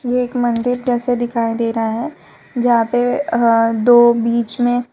एक मंदिर जैसे दिखाई दे रहा है जहां पर दो बीच में--